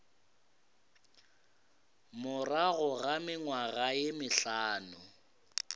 morago ga mengwaga ye mehlano